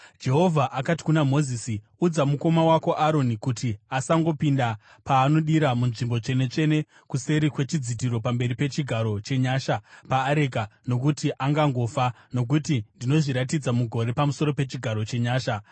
Jehovha akati kuna Mozisi, “Udza mukoma wako Aroni kuti asangopinda paanodira muNzvimbo Tsvene-tsvene kuseri kwechidzitiro pamberi pechigaro chenyasha paareka, nokuti angangofa, nokuti ndinozviratidza mugore pamusoro pechigaro chenyasha.